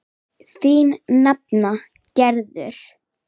Þín nafna Gerður.